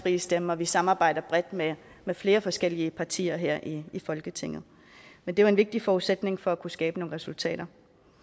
frie stemme og at vi samarbejder bredt med flere forskellige partier her i folketinget men det er en vigtig forudsætning for at kunne skabe nogle resultater